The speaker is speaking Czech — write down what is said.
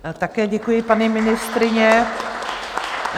Také děkuji, paní ministryně.